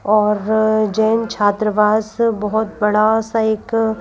और जैन छात्रवास बहुत बड़ा सा एक --